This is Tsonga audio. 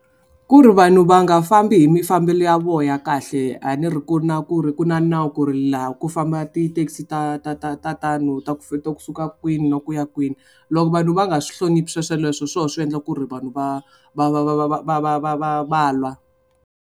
Ku ri vanhu va nga fambi hi mafambelo ya vo ya kahle a ni ri ku na ku ri ku na nawu ku ri laha ku famba tithekisi ta ta ta ta tano ta ta kusuka kwini na ku ya kwini loko vanhu va nga swi hloniphi swesweleswo hi swoho swi endla ku ri vanhu va va va va va va va va va va va lwa.